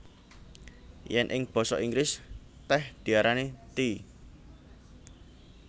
Yèn ing basa Inggris tèh diarani tea